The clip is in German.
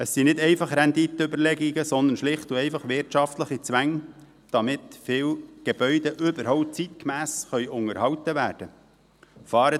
Es sind nicht einfach Renditenüberlegungen, sondern schlicht und einfach wirtschaftliche Zwänge, damit viele Gebäude überhaupt zeitgemäss unterhalten werden können.